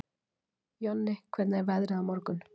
Jonni, hvernig er veðrið á morgun?